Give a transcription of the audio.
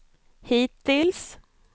hittills